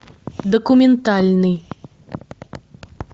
документальный